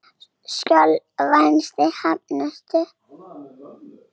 Skjólvangi Hrafnistu